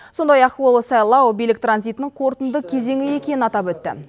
сондай ақ ол сайлау билік транзитінің қорытынды кезеңі екенін атап өтті